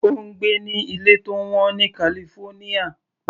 Ó ń gbé ní ilé tó wọ́n ní California.